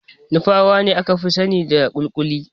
Nupawa ne aka fi sanida kuli-kuli.